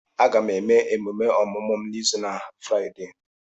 Aga m eme emume ọmụmụ m n'izu na Fraịdee.